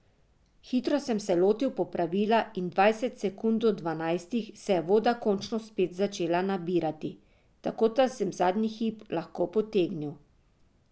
Hitro sem se lotil popravila in dvajset sekund do dvanajstih se je voda končno spet začela nabirati, tako da sem zadnji hip lahko potegnil.